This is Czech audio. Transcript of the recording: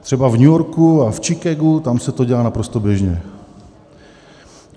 Třeba v New Yorku a v Chicagu, tam se to dělá naprosto běžně.